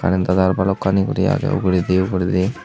karentw tar balokkani guri agey uguredi uguredi.